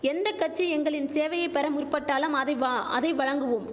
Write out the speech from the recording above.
எந்த கட்சி எங்களின் சேவையை பெற முற்பட்டாலும் அதைவா அதை வழங்குவோம்